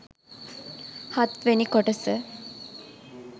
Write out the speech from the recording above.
හත් වෙනි කොටස